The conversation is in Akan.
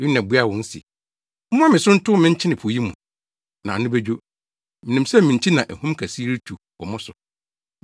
Yona buaa wɔn se, “Momma me so ntow me nkyene po yi mu, na ano bedwo. Minim sɛ me nti na ahum kɛse yi retu wɔ mo so.”